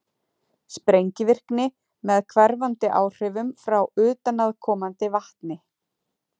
sprengivirkni með hverfandi áhrifum frá utanaðkomandi vatni